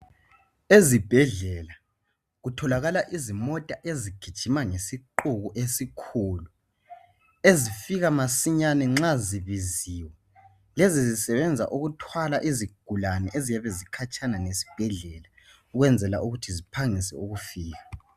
Ezibhedlela kutholakala izimota ezigijima ngesiqubu esikhulu eszfika masinyane nxa zibiziwe lezi zisebenza ukuthwala izigulane eziyabe zikhatshana lesibhedlela ukwenzela ukuthi ziphangise ukufika.